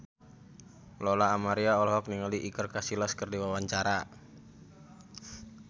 Lola Amaria olohok ningali Iker Casillas keur diwawancara